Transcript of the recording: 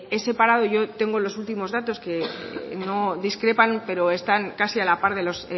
he separado yo tengo los últimos datos que no discrepan pero están casi a la par de los